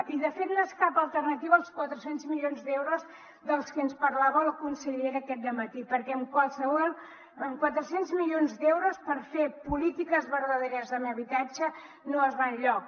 i de fet no és cap alternativa als quatre cents milions d’euros dels que ens parlava la consellera aquest dematí perquè amb quatre cents mi lions d’euros per fer polítiques verdaderes amb habitatge no es va enlloc